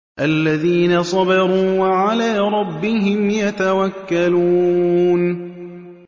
الَّذِينَ صَبَرُوا وَعَلَىٰ رَبِّهِمْ يَتَوَكَّلُونَ